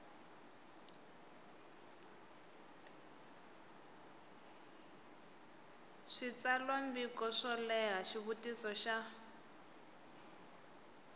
switsalwambiko swo leha xivutiso xa